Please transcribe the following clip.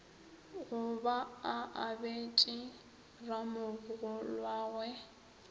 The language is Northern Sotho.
go ba a abetše ramogolwagwe